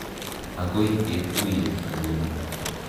Akoi ketuye tuun.